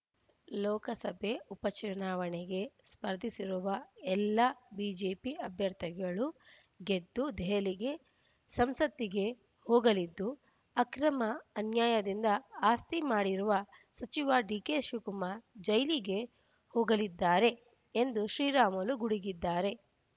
ಲೋಕಸಭೆ ಉಪ ಚುನಾವಣೆಗೆ ಸ್ಪರ್ಧಿಸಿರುವ ಎಲ್ಲ ಬಿಜೆಪಿ ಅಭ್ಯರ್ಥಿಗಳು ಗೆದ್ದು ದೆಹಲಿಗೆ ಸಂಸತ್ತಿಗೆ ಹೋಗಲಿದ್ದು ಅಕ್ರಮ ಅನ್ಯಾಯದಿಂದ ಆಸ್ತಿ ಮಾಡಿರುವ ಸಚಿವ ಡಿಕೆಶಿವಕುಮಾರ್ ಜೈಲಿಗೆ ಹೋಗಲಿದ್ದಾರೆ ಎಂದು ಶ್ರೀರಾಮುಲು ಗುಡುಗಿದ್ದಾರೆ